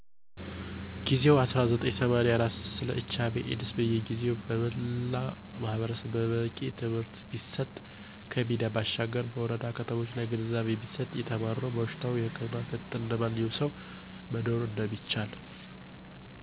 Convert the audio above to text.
ጊዜው 1984 ስለ HIV/AIDS በጊዜው በመላው ማህረሰብ በቂ ትምህርት ቢሰጥ ከሚዲያ ባሻገር በወረዳ ከተሞች ላይ ግንዛቤ ቢሰጥ የተማርነው በሽታው በህክምና ክትትል እንደማንኛውም ሰው መኖር እንደሚቻል